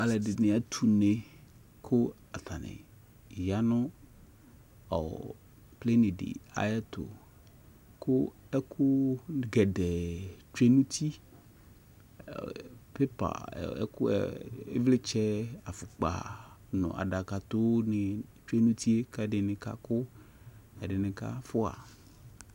alʋɛdini atɛ ʋnɛ kʋ atani yanʋ plane di ayɛtʋ kʋ ɛkʋ gɛdɛɛ twɛ nʋ ʋti, paper ɛkʋɛ ivlitsɛ aƒʋkpa adakatɔ twɛ nʋ ʋtiɛ kʋ ɛdini kakʋ ɛdini kaƒʋa